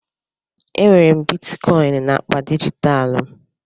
Enwere m Bitikoin naakpa dijitalụ m